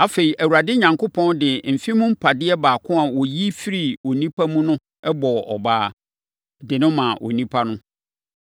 Afei, Awurade Onyankopɔn de mfe mu mpadeɛ baako a ɔyi firii onipa mu no bɔɔ ɔbaa, de no maa onipa no.